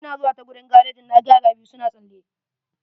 Ina zuwa ta gurin garejin na ga yara biyu suna tsalle.